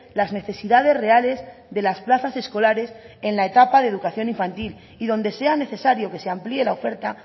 las necesidades reales de las plazas escolares en la etapa de educación infantil y donde sea necesario que se amplíe la oferta